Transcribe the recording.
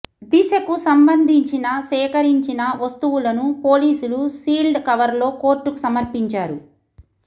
దిశకు సంబంధించిన సేకరించిన వస్తువులను పోలీసులు సీల్డ్ కవర్లో కోర్టుకు సమర్పించారు